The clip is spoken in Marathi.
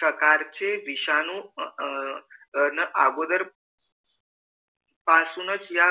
साकार चे विषाणू अह अं अगोदर पासूनच या